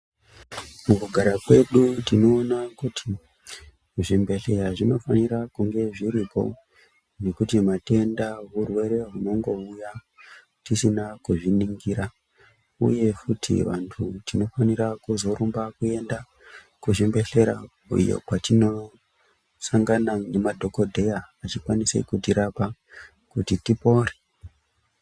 Mukugara kwedu tinoona kuti zvimbehleya zvinofanira kunge zviripo nekuti matenda hurwere hunongouya tisina kuzviningira uye futi vantu tinofanira kuzorumba kuenda kuzvimbehleya iyo kwatinosanaga nemadhokodheya achikwanisa kutirapa kuti tipore.